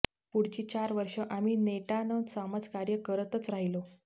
पुढची चार वर्ष आम्ही नेटानं समाजकार्य करतच राहिलो